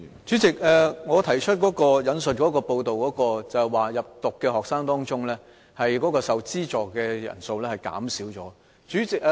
主席，我引述的報道，有關在入讀的學生當中，受資助的人數減少了。